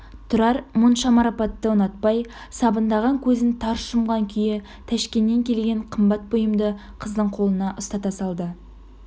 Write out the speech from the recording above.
тұрар мұнша марапатты ұнатпай сабындаған көзін тарс жұмған күйі тәшкеннен келген қымбат бұйымды қыздың қолына ұстата салды